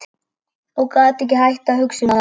Ég gat ekki hætt að hugsa um það.